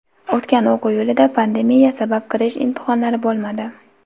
O‘tgan o‘quv yilida pandemiya sabab kirish imtihonlari bo‘lmadi.